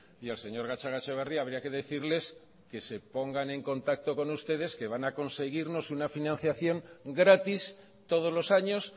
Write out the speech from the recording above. y al señor gatzagaetxebarria habría que decirles que se pongan en contacto con ustedes que van a conseguirnos una financiación gratis todos los años